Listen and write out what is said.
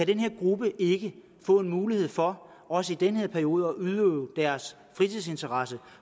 den her gruppe ikke kan få en mulighed for også i den her periode at udøve deres fritidsinteresse